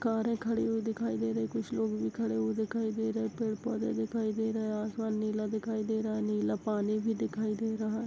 कारे खड़ी हुई दिखाई दे रही है कुछ लोग भी खड़े हुए दिखाई दे रहे है पेड़ -पौधे दिखाई दे रहे है आसमान नीला दिखाई दे रहा है नीला पानी भी दिखाई दे रहा हैं।